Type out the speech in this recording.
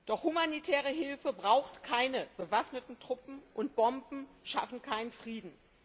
Doch humanitäre Hilfe braucht keine bewaffneten Truppen, und Bomben schaffen keinen Frieden.